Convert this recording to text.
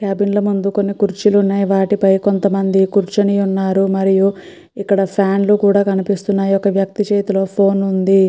Cabin లా ముందు కొన్ని కుర్చీలు ఉన్నాయి. వాటిలో కొంతమంది కూర్చుని ఉన్నారు. మరియు ఇక్కడ ఫ్యాన్ లు కూడా కనిపిస్తున్నాయి ఒక వ్యక్తి చేతిలో ఫోన్ ఉంది.